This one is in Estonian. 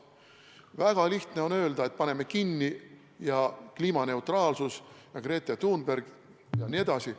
Väga lihtne on öelda, et paneme kinni ja kliimaneutraalsus ja Greta Thunberg jne.